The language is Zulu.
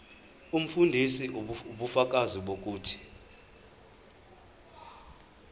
umfundisi ubufakazi bokuthi